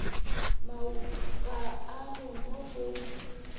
maupa a re mo go